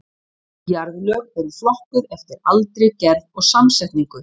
Jarðlög eru flokkuð eftir aldri, gerð og samsetningu.